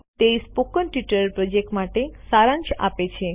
તે spoken tutorial project માટે સારાંશ આપે છે